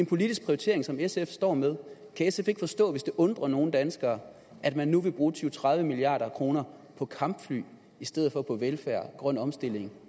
politisk prioritering som sf står med kan sf ikke forstå hvis det undrer nogle danskere at man nu vil bruge tyve til tredive milliard kroner på kampfly i stedet for på velfærd grøn omstilling